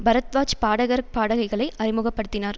பரத்வாஜ் பாடகர் பாடகிகளை அறிமுக படுத்தினார்